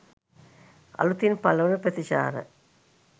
අලුතින් පළ වන ප්‍රතිචාර